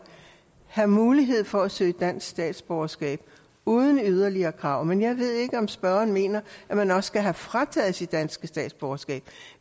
have mulighed for at søge om dansk statsborgerskab uden yderligere krav men jeg ved ikke om spørgeren mener at man også skal have frataget sit danske statsborgerskab